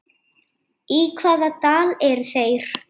Í hvaða dal eru þeir?